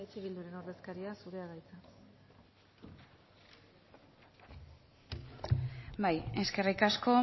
eh bilduren ordezkaria zurea da hitza bai eskerrik asko